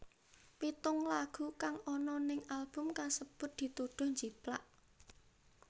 Pitung lagu kang ana ning album kasebut dituduh njiplak